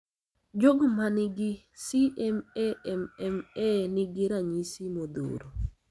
Jogo man gi CMAMMA nigi ranyisi modhuro.